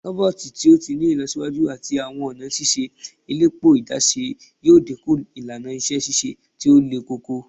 Roboti to ti ni ilọsiwaju ati awọn ọna ṣiṣe elepo adaṣe yoo dinku ilana iṣẹ ṣiṣe ti o lekoko